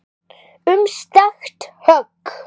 Um skakkt högg